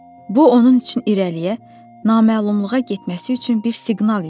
Bu onun üçün irəliyə, naməlumluğa getməsi üçün bir siqnal idi.